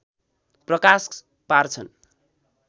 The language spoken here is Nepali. प्रकाश पार्छन्